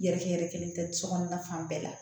Yɛrɛkɛ yɛrɛ kelen tɛ sokɔnɔna fan bɛɛ la